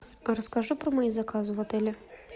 расскажи про мои заказы в отеле